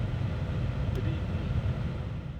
Tri dni.